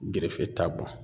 Gerefe t'a bɔ